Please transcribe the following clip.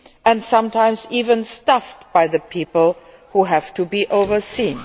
and are sometimes even staffed by the people who have to be overseen.